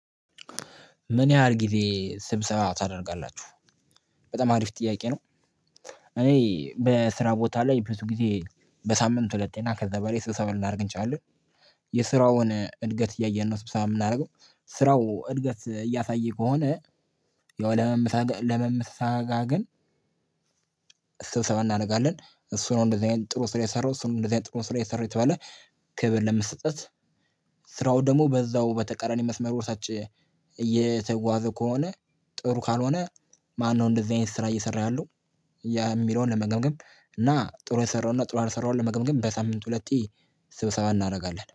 ምን ያህል ጊዜ ስብሰባ ታደርጋላችሁ? በጣም አሪፍ ጥያቄ ነው እኔ በስራ ቦታ ላይ ብዙ ጊዜ በሳምንት ሁለቴና ከዛ በላይ ስብሰባ ልናደርግ እንችላለን። የስራውን እድገት እያየን ነው ስብሰባ የምናደርገው ስራው እድገት እያሳየ ከሆነ ለመመሰጋ ለመመሰጋገን ስብሰባ እናደርጋለን እሱ ነው እንደዚህ አይነት ጥሩ ስራ የሰራው እሱ ነው እንደዚህ አይነት ጥሩ ስራ የሰራው እየተባለ ክብር ለመሰጠት ስራው ደግሞ በዛው በተቀራኒ መስመር ወሳጭ እየተጓዘ ከሆነ ጥሩ ካልሆነ ማነው እንደዚህ አይነት ስራ እየሰራ ያለው የሚለውን ለመገምገም እና ጥሩ የሰራውንና ጥሩ ያልሰራውን ለመገምገም በሳምንት ሁለት ስብሰባ እናደርጋለን።